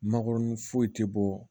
Mangoron foyi tɛ bɔ